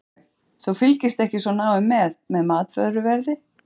Sólveig: Þú fylgist ekki svo náið með, með matvöruverði?